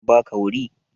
An ba ka wuri?